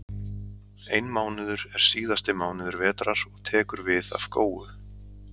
Einmánuður er síðasti mánuður vetrar og tekur við af góu.